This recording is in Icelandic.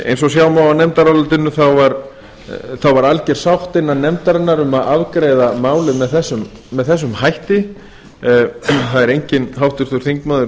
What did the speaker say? eins og sjá má af nefndarálitinu var alger sátt innan nefndarinnar um að afgreiða málið með þessum hætti það er enginn háttvirtur þingmaður